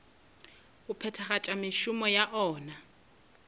go phethagatša mešomo ya ona